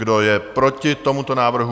Kdo je proti tomuto návrhu?